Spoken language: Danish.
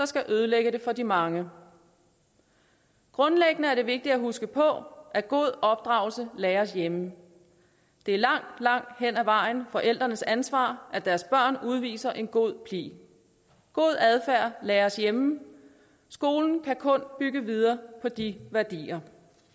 skal ødelægge det for de mange grundlæggende er det vigtigt at huske på at god opdragelse læres hjemme det er langt langt hen ad vejen forældrenes ansvar at deres børn udviser en god pli god adfærd læres hjemme skolen kan kun bygge videre på de værdier